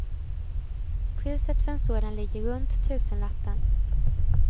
Priset för en sådan ligger runt tusenlappen.